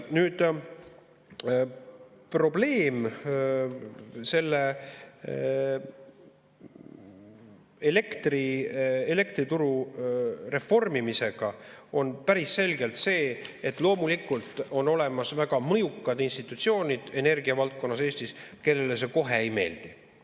Nüüd, probleem selle elektrituru reformimisega on päris selgelt see, et loomulikult on Eestis olemas väga mõjukad institutsioonid energiavaldkonnas, kellele see kohe ei meeldi.